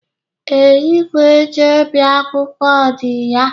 Ee, igwe eji ebi akwụkwọ di ya.